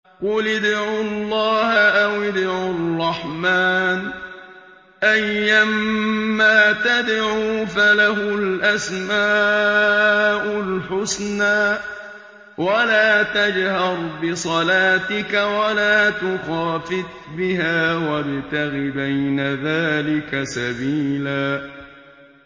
قُلِ ادْعُوا اللَّهَ أَوِ ادْعُوا الرَّحْمَٰنَ ۖ أَيًّا مَّا تَدْعُوا فَلَهُ الْأَسْمَاءُ الْحُسْنَىٰ ۚ وَلَا تَجْهَرْ بِصَلَاتِكَ وَلَا تُخَافِتْ بِهَا وَابْتَغِ بَيْنَ ذَٰلِكَ سَبِيلًا